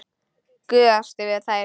Gusast yfir þær.